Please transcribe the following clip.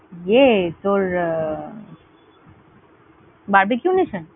ইয়ে তোর আহ Barbeque Nation?